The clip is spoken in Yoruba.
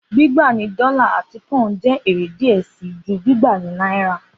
Gbigba ni dọla ati poun jẹ ere diẹ sii ju gbigba ni naira